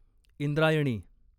Indrayani